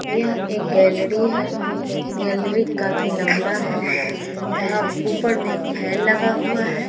यहाँ एक गैलरी है। गैलरी काफी लंबा है। यहाँ ऊपर में एक फैन लगा हुआ है।